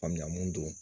Faamuya mun don